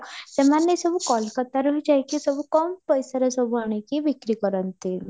ସେମାନେ ସବୁ କୋଲକାତାରୁ ହିଁ ଯାଇ କି ସବୁ କମ ପଇସାରେ ଆଣିକି ବିକ୍ରି କରନ୍ତି